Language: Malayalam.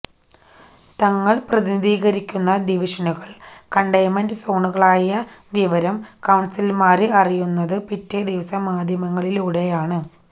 തങ്ങള് പ്രതിനിധീകരിക്കുന്ന ഡിവിഷനുകള് കണ്ടൈന്മെന്റ് സോണുകളായ വിവരം കൌണ്സിലര്മാര് അറിയുന്നത് പിറ്റേ ദിവസം മാധ്യമങ്ങളിലൂടെയാണ്